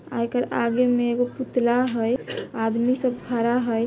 आ एकर आगे में एगो पुतला हई। आदमी सब खड़ा है।